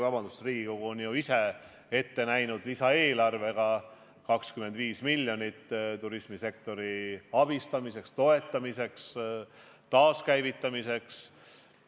Riigikogu on ju ise lisaeelarvega ette näinud 25 miljonit eurot turismisektori abistamiseks, toetamiseks, taaskäivitamiseks.